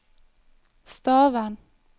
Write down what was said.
Stavern